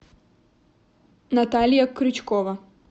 наталья крючкова